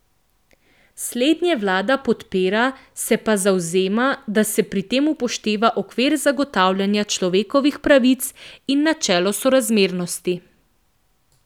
Slednje vlada podpira, se pa zavzema, da se pri tem upošteva okvir zagotavljanja človekovih pravic in načelo sorazmernosti.